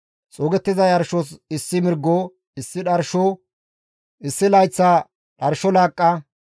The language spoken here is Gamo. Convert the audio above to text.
xuugettiza yarshos issi mirgo, issi dharsho, issi layththa dharsho laaqqa,